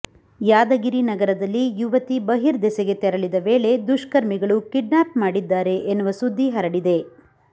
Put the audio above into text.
ಯಾದಗಿರಿ ನಗರದಲ್ಲಿ ಯುವತಿ ಬರ್ಹಿದೇಸಿಗೆ ತೆರಳಿದ ವೇಳೆ ದುಷ್ಕರ್ಮಿಗಳು ಕಿಡ್ನಾಪ್ ಮಾಡಿದ್ದಾರೆ ಎನ್ನುವ ಸುದ್ದಿ ಹರಡಿದೆ